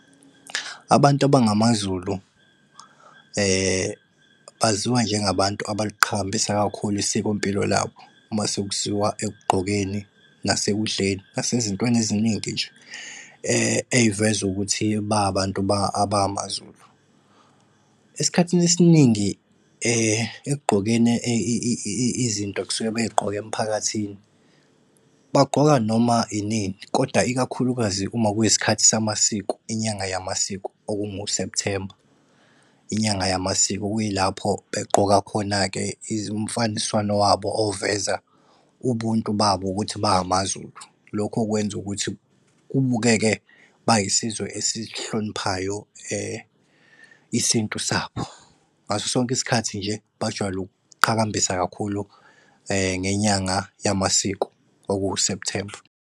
Abantu abangamaZulu, baziwa njengabantu abaliqhakambisa kakhulu isikompilo labo uma sekuziwa ekugqokeni, nasekudleni, nasezintweni eziningi nje ey'veza ukuthi ba abantu abamaZulu. Esikhathini esiningi ekugqokeni izinto ekusuke bey'gqoka emphakathini, bagqoka noma inini koda ikakhulukazi uma kuyisikhathi sama siko, inyanga yamasiko, okungu-September. Inyanga yamasiko okuyilapho egqoka khona-ke umfaniswano wabo oveza ubuntu babo ukuthi ba amaZulu, lokhu okwenza ukuthi kubukeke bayisizwe esihloniphayo isintu sabo. Ngaso sonke isikhathi nje, bajwayele ukuqhakambisa kakhulu ngenyanga yamasiko okuwu-September.